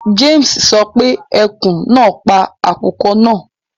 James sọ pé ekun náà pa àkùkọ náà